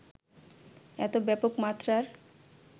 এত ব্যাপক মাত্রার